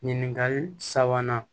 Ɲininkali sabanan